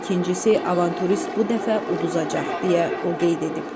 İkincisi, avanturist bu dəfə uduzacaq, deyə o qeyd edib.